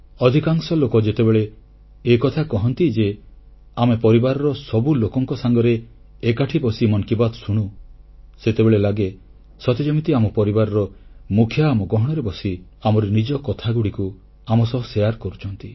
ଅଧିକାଂଶ ଲୋକ ଯେତେବେଳେ ଏକଥା କହନ୍ତି ଯେ ଆମେ ପରିବାରର ସବୁ ଲୋକଙ୍କ ସାଙ୍ଗରେ ଏକାଠି ବସି ମନ୍ କି ବାତ୍ ଶୁଣୁ ସେତେବେଳେ ଲାଗେ ସତେ ଯେମିତି ଆମ ପରିବାରର ମୁଖିଆ ଆମ ଗହଣରେ ବସି ଆମରି ନିଜ କଥାଗୁଡ଼ିକୁ ଆମ ସହ ଅନୁଭୂତି ବାଣ୍ଟୁଛନ୍ତି